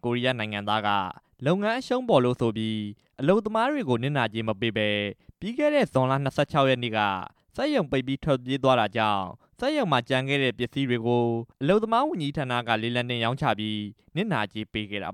ကိုရီးယားနိုင်ငံသား လုပ်ငန်းရှင်က အရှုံးပေါ်လို့ဆိုပြီး အလုပ်သမားတွေကို နစ်နာကြေးမပေးပဲ ပြီးခဲ့တဲ့ ဇွန်လ ၂၆ ရက်နေ့က စက်ရုံပိတ်ပြီး ထွက်ပြေးသွားတာကြောင့် Master Sport ဖိနပ် စက်ရုံမှာကျန်ခဲ့တဲ့ ပစ္စည်းတွေကို အလုပ်သမားဝန်ကြီးဌာနက လေလံတင်ရောင်းချပြီး အလုပ်သမားတွေကို ဒီကနေ့ နစ်နာကြေးပေးခဲ့တာ